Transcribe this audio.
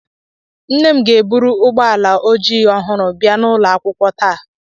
Nne m ga-eburu ụgbọala ojii ọhụrụ bia n'ụlọ akwụkwọ taa